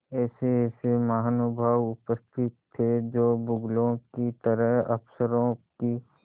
ऐसेऐसे महानुभाव उपस्थित थे जो बगुलों की तरह अफसरों की